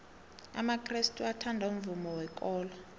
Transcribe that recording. amakrestu athanda umvumo wekolo